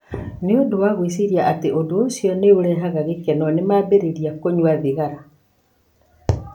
Nĩ ũndũ wa gwĩciria atĩ ũndũ ũcio nĩ ũrehaga gĩkeno, nĩ mambĩrĩria kũnyua thigara.